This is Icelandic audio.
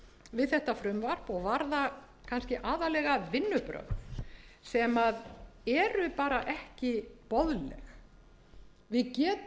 við þetta frumvarp og varðar kannski aðallega vinnubrögð sem eru bara ekki boðleg við getum